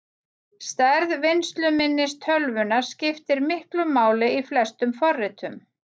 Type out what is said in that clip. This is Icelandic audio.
Stærð vinnsluminnis tölvunnar skiptir miklu máli í flestum forritum.